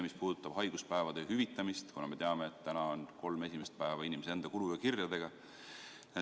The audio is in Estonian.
Mis puudutab haiguspäevade hüvitamist, siis me teame, et praegu saab kolm esimest päeva kodus olla inimese enda kulu ja kirjadega.